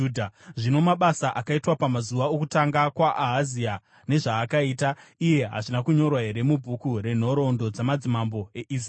Zvino, mabasa akaitwa pamazuva okutonga kwaAhazia, nezvaakaita iye hazvina kunyorwa here mubhuku renhoroondo dzamadzimambo eIsraeri?